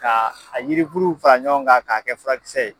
Ka a yirikuruw fara ɲɔgɔn kan k'a kɛ furakisɛ ye.